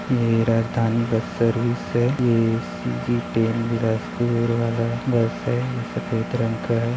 ये Rajdhani bus service है ये सी_जी टेन बिलासपुर वाला बस है ये सफेद रंग का है।